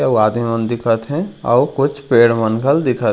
अऊ आदमी दिखत हे अऊ कुछ पेड़ मन घल दिखत हे।